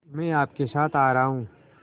मैं आपके साथ आ रहा हूँ